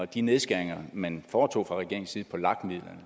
de nedskæringer man foretog fra regeringens side på lag midlerne